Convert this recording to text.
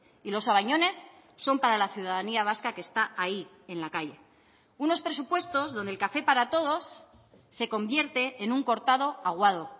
y los sabañones son para la ciudadanía vasca que está ahí en la calle unos presupuestos donde el café para todos se convierte en un cortado aguado